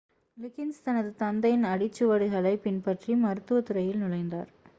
லிகின்ஸ் தனது தந்தையின் அடிச்சுவடுகளைப் பின்பற்றி மருத்துவத் துறையில் நுழைந்தார்